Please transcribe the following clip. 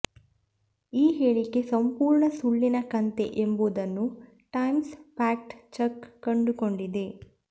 ಈ ಹೇಳಿಕೆ ಸಂಪೂರ್ಣ ಸುಳ್ಳಿನ ಕಂತೆ ಎಂಬುದನ್ನು ಟೈಮ್ಸ್ ಫ್ಯಾಕ್ಟ್ ಚೆಕ್ ಕಂಡುಕೊಂಡಿದೆ